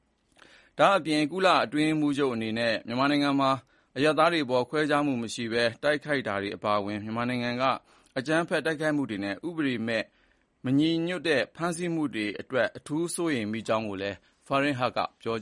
။ ဒါ့ပြင် အတွင်းရေးမှူးချုပ်အနေနဲ့ မြန်မာနိုင်ငံမှာ အရပ်သားတွေအပေါ် ခွဲခြားမှုမရှိဘဲ တိုက်ခိုက်တာတွေအပါအဝင် မြန်မာနိုင်ငံက အကြမ်းဖက်တိုက်ခိုက်မှုတွေနဲ့ ဥပဒေနဲ့မညီညွတ်တဲ့ ဖမ်းဆီးနေမှုတွေအတွက် အထူးစိုးရိမ်ကြောင်းကိုလည်း Farhan Heq ကပြော